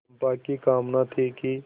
चंपा की कामना थी कि